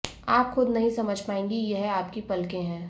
आप खुद नही समझ पाएगी कि यह आपकी पलके है